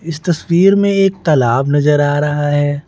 इस तस्वीर में एक तालाब नजर आ रहा है।